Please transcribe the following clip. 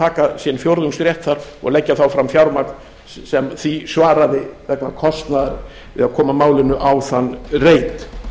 taka sinn fjórðungsrétt þar og leggja þá fram fjármagn sem því svaraði vegna kostnaðar við að koma málinu á þann